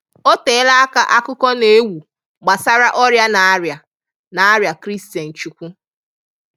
O teela aka akụkọ na-ewu gbasara ọrịa na-arịa na-arịa Christian Chukwu